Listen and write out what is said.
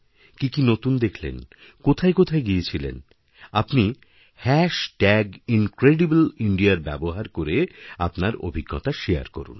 কি কি নতুন দেখলেন কোথায় গিয়েছিলেন আপনিহ্যাশ ট্যাগ ইনক্রেডিবল ইণ্ডিয়ার ব্যবহার করে আপনার অভিজ্ঞতা শেয়ার করুন